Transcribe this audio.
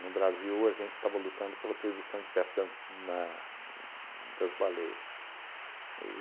No Brasil, a gente estava lutando pela proibição de pesca na das baleias. E